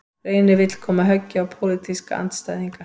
Reynir vill koma höggi á pólitíska andstæðinga